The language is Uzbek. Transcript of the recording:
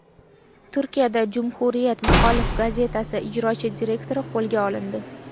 Turkiyada Cumhuriyet muxolif gazetasi ijrochi direktori qo‘lga olindi.